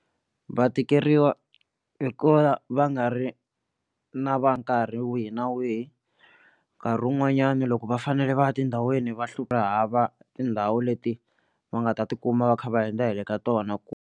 Va tikeriwa hikuva va nga ri na va nkarhi wihi na wihi nkarhi wun'wanyani loko va fanele va ya tindhawini va hlupha tindhawu leti va nga ta tikuma va kha va hundza hi le ka tona.